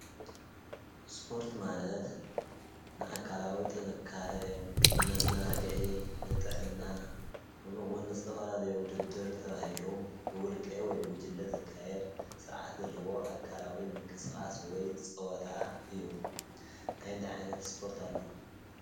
ስፖርት ማለት ንኣካልዊ ጥንካረ ፣ንመዘናግዒ ፣ ንጥዕና ፣ከምኡ እዉን ንዝተፈላለዩ ዉድድር ተባሂሉ ብዉልቀ ወይ ብጉጅለ ዝካየድ ስርዓት ዘለዎ ኣካላዊ ምንቅስቃስ ወይ ፀወታ እዩ። እንታይ እንታይ ዓይነት ስፖርቲ ኣለዉ ?